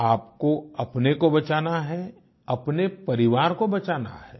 आपको अपने को बचाना है अपने परिवार को बचाना है